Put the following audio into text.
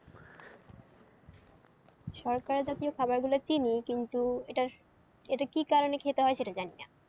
শর্করা জাতীয় খাবারগুলো চিনি কিন্তু এটা, এটা কি কারণে খেতে হয় সেটা জানি না।